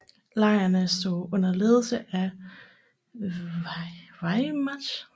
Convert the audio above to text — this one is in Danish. Lejrene stod under ledelse af Wehrmacht